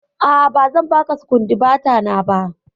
A'a, ba zan baka sukundibata ba.